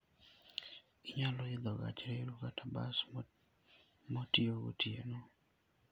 Inyalo idho gach reru kata bas motiyo gotieno.